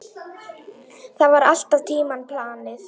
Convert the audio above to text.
Það var allan tímann planið.